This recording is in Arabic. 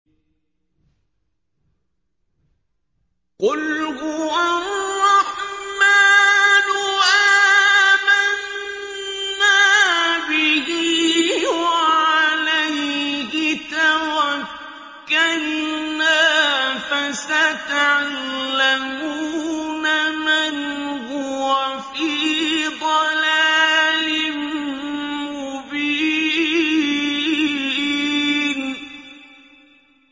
قُلْ هُوَ الرَّحْمَٰنُ آمَنَّا بِهِ وَعَلَيْهِ تَوَكَّلْنَا ۖ فَسَتَعْلَمُونَ مَنْ هُوَ فِي ضَلَالٍ مُّبِينٍ